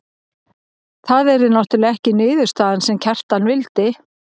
Það yrði náttúrlega ekki niðurstaðan sem Kjartan vildi.